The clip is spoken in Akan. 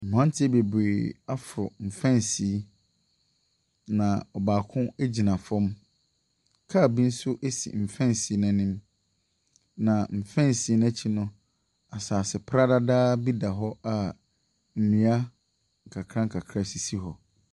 Mmranteɛ bebree aforo mfɛnsee yi. Na ɔbaako gyina fam. Car bi nso si mfɛnsee no anim. Na mfɛnsee no akyi no, asase pradadaa bi da hɔ a nnua kakra nkara bi sisi hɔ.